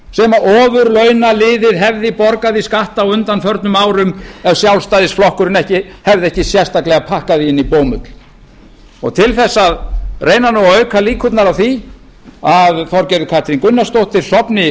sem ofurlaunaliðið hefði borgað í skatta á undanförnum árum ef sjálfstæðisflokkurinn hefði ekki sérstaklega pakkað því inn í bómull og til þess að reyna að auka líkurnar á því að þorgerður katrín gunnarsdóttir sofni